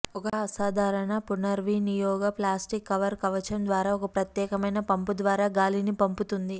ఒక అసాధారణ పునర్వినియోగ ప్లాస్టిక్ కవర్ కవచం ద్వారా ఒక ప్రత్యేకమైన పంపు ద్వారా గాలిని పంపుతుంది